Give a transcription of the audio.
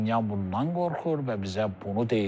Paşinyan bundan qorxur və bizə bunu deyir.